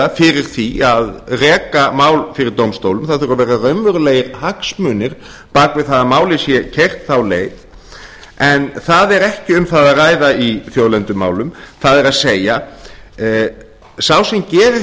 fyrir því að reka mál fyrir dómstólum það þurfa að vera raunverulegir hagsmunir bak við það að málið sé keyrt þá leið en það er ekki um það að ræða í þjóðlendumálum það er sá sem gerir